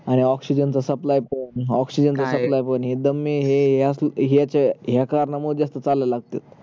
हा oxygen च supply पण oxygen च supply पण हे दमे हे ह्याच ह्याच ह्या कारणामुळे जास्त चालयला लागते